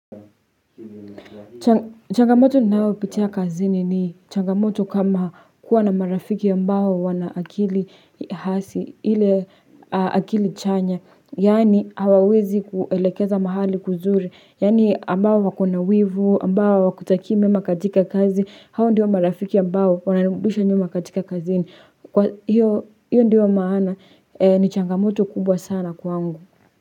Changamoto ninayopitia kazini ni changamoto kama kuwa na marafiki ambao wana akili hasi ile akili chanya yaani hawawezi kuelekeza mahali kuzuri yaani ambao wako na wivu ambao hawakutakii mema katika kazi hao ndiyo marafiki ambao wananirudisha nyuma katika kazini kwa hiyo hiyo ndiyo maana ni changamoto kubwa sana kwangu.